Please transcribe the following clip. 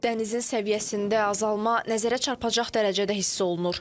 Dənizin səviyyəsində azalma nəzərə çarpacaq dərəcədə hiss olunur.